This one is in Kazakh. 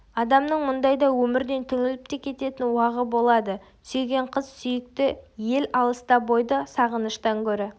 адамның мұндайда өмірден түңіліп те кететін уағы болады сүйген қыз сүйікті ел алыста бойды сағыныштан гөрі